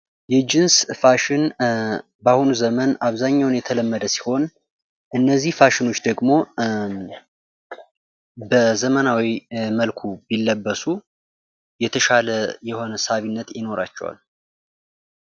የጅንስ ፋሽን በአሁኑ ዘመን አብዛኛውን የተለመደ ሲሆን እነዚህ ፋሽኖች ደግሞ በዘመናዊ መልኩ ቢለበሱ የተሻለ የሆነ ሳቢነት ይኖራቸዋል።